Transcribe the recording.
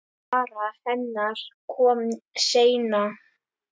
Sara hennar kom seinna.